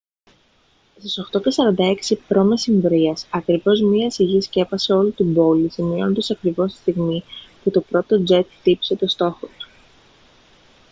στις 8:46 π.μ. ακριβώς μια σιγή σκέπασε όλη την πόλη σημειώνοντας ακριβώς τη στιγμή που το πρώτο τζετ χτύπησε τον στόχο του